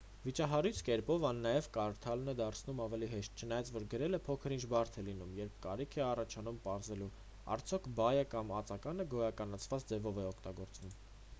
վիճահարույց կերպով այն նաև կարդալն է դարձնում ավելի հեշտ չնայած որ գրելը փոքր-ինչ բարդ է լինում երբ կարիք է առաջանում պարզելու արդյոք բայը կամ ածականը գոյականացված ձևով է օգտագործվում